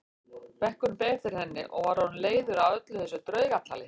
Bekkurinn beið eftir henni og var orðinn leiður á öllu þessu draugatali.